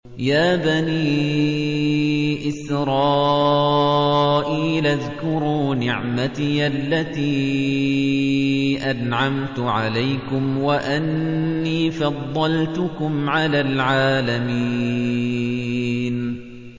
يَا بَنِي إِسْرَائِيلَ اذْكُرُوا نِعْمَتِيَ الَّتِي أَنْعَمْتُ عَلَيْكُمْ وَأَنِّي فَضَّلْتُكُمْ عَلَى الْعَالَمِينَ